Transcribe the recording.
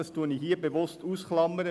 Das klammere ich bewusst aus.